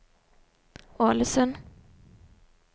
Ålesund